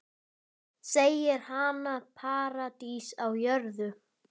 Segir hana paradís á jörð.